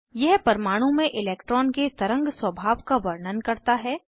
यह परमाणु में इलैक्ट्रॉन के तरंग स्वभाव का वर्णन करता है